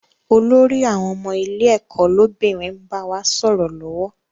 Olórí àwọn ọmọ ilé ẹ̀kọ́ lọ́bìnrin n bá wa sọ̀rọ̀ lọ́wọ́